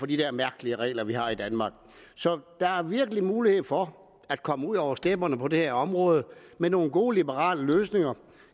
de der mærkelige regler vi har i danmark så der er virkelig mulighed for at komme ud over stepperne på det her område med nogle gode liberale løsninger